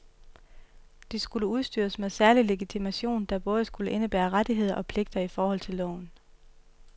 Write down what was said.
De skulle udstyres med særlig legitimation, der både skulle indebære rettigheder og pligter i forhold til loven.